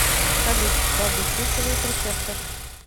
салют что обеспечивает рецептор